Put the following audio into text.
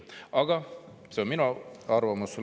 Aga see on minu arvamus.